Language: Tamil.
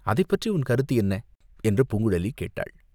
அதைப் பற்றி உன் கருத்து என்ன?" என்று பூங்குழலி கேட்டாள்.